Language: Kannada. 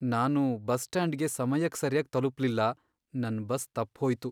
ನಾನು ಬಸ್ ಸ್ಟ್ಯಾಂಡ್ಗೆ ಸಮಯಕ್ ಸರ್ಯಾಗ್ ತಲುಪ್ಲಿಲ್ಲ, ನನ್ ಬಸ್ ತಪ್ಪ್ಹೋಯ್ತು.